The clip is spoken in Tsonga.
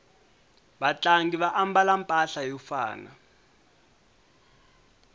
vatlangi va ambala mpahla yo fana